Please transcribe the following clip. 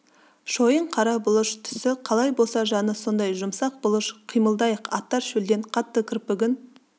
шойын қара бұлыш түсі қалай болса жаны сондай жұмсақ бұлыш қимылдайық аттар шөлден қатты кірпігін